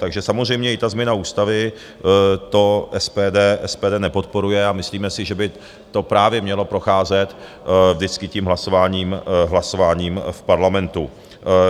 Takže samozřejmě i ta změna ústavy, to SPD nepodporuje a myslíme si, že by to právě mělo procházet vždycky tím hlasováním v Parlamentu.